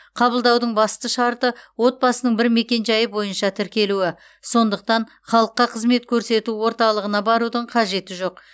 қабылдаудың басты шарты отбасының бір мекенжайы бойынша тіркелуі сондықтан халыққа қызмет көрсету орталығына барудың қажеті жоқ